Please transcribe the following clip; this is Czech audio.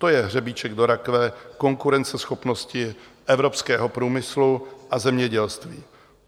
To je hřebíček do rakve konkurenceschopnosti evropského průmyslu a zemědělství.